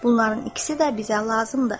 Bunların ikisi də bizə lazımdır.